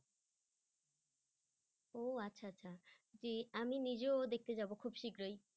ও আচ্ছা আচ্ছা তে আমি নিজেও দেখতে যাব খুব শীঘ্রই।